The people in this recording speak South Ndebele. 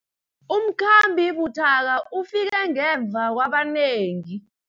Umkhambi buthaka ufike ngemva kwabanengi.